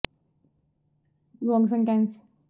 ਪਰ ਪਰਮੇਸ਼ੁਰ ਨੇ ਅੰਨ੍ਹੇ ਅਤੇ ਅਰਜ਼ੀ ਨੂੰ ਬੋਲ਼ੇ ਰਿਹਾ